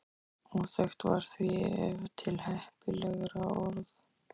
Óþekkt var því ef til heppilegra orð.